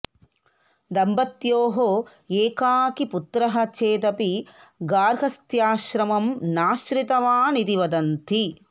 दम्पत्योः एकाकी पुत्रः चेदपि गार्हस्थ्याश्रमं नाश्रितवान् इति वदन्ति